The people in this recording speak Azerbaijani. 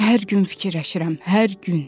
Hər gün fikirləşirəm, hər gün.